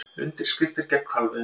Undirskriftir gegn hvalveiðum